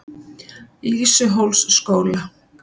Lýsuhólsskóla